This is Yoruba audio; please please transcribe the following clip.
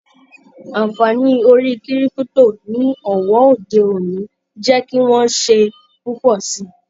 Anfààní orí kírípútò ní òwò òde-òní n jẹ kí wọn ṣe púpọ sí.